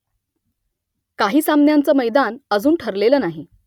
काही सामन्यांचं मैदान अजून ठरलेलं नाही